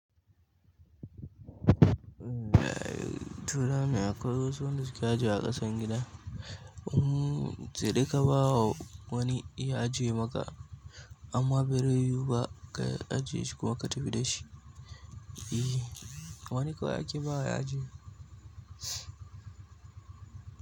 Eh, turawa mai akwai wasu wanda suke ajiyewa akasan gida um saidai kabawa wani ya je maka amma berai yiwu ba ka ajiye shikuma ka tafi da shi. Eh wani kawai ake bawa ya ajiye.